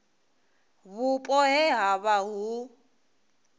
vhupo he ha vha hu